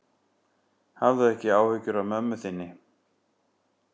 Hafðu ekki áhyggjur af mömmu þinni.